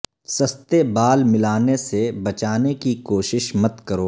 سستے بال ملانے سے بچانے کی کوشش مت کرو